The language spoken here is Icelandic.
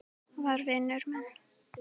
var vinur minn.